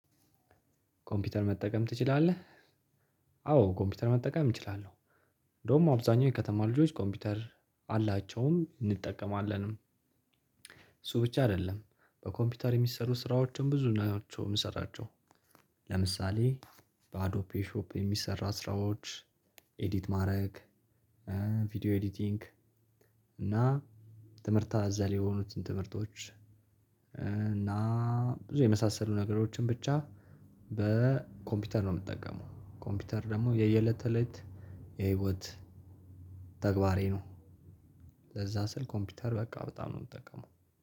ኮምፕዩተር መጠቀም ትችላለህ? አዎ ኮምፕዩተር መጠቀም እችላለው። እንዲያውም አብዛኛው የከተማ ልጆች ኮምፑተር አላቸውም እንጠቀማለንም። እሱ ብቻ አይደለም በኮምፕዩተር የሚሰሩ ስራዎችም ብዙ ናቸው የምንሰራቸው። ለምሳሌ በአዶፔ ሾፕ የሚሰሩ ስራዎች ኤዲት ማድረግ። ቪዲዮ ኤዲቲንግ እና ትምህርት አዘል የሆኑትን ትምህርቶች። እና ብዙ የመሳሰሉ ነገሮችን ብቻ በኮምፒውተር ነው የምጠቀመው። ኮምፒውተር ደግሞ የየለት ተለት የህይወት ተግባሬ ነው። ለዛ ስል ኮምፒውተር በቃ በጣም ነው የምጠቀመው።